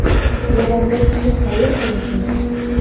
Levandovski qayerda yashaydi?